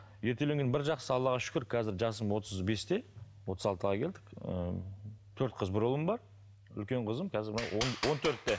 ерте үйленгеннің бір жақсысы аллаға шүкір қазір жасым отыз бесте отыз алтыға келдік ыыы төрт қыз бір ұлым бар үлкен қызым қазір он төртте